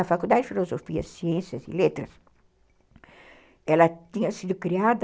A Faculdade de Filosofia, Ciências e Letras, ela tinha sido criada...